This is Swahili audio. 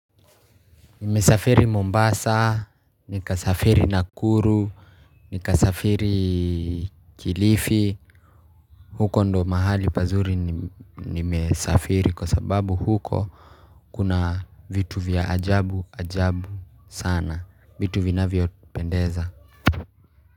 Nimesafiri Mombasa, nikasafiri Nakuru, nikasafiri Kilifi. Huko ndo mahali pazuri nimesafiri kwa sababu huko kuna vitu vya ajabu ajabu sana. Vitu vinavyao tupendeza.